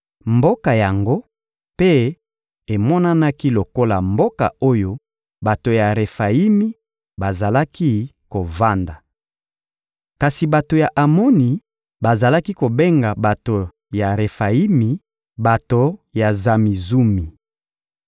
Mboka yango mpe emonanaki lokola mboka oyo bato ya Refayimi bazalaki kovanda. Kasi bato ya Amoni bazalaki kobenga bato ya Refayimi: bato ya Zamizumi.